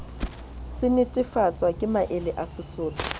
se netefatswa ke maele a